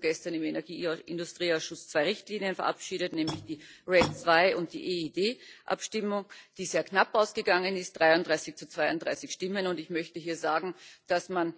Wir haben dazu gestern im Industrieausschuss zwei Richtlinien verabschiedet, nämlich die RED II und die EED Abstimmung, die sehr knapp ausgegangen ist, 33 zu 32 Stimmen, und ich möchte hier sagen, dass man